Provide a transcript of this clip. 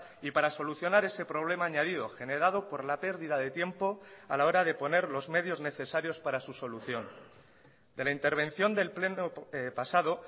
y para solucionar ese problema añadido generado por la pérdida de tiempo a la hora de poner los medios necesarios para su solución de la intervención del pleno pasado